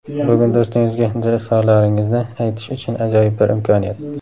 Bugun do‘stingizga dil izhorlaringizni aytish uchun ajoyib bir imkoniyat.